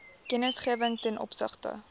kennisgewing ten opsigte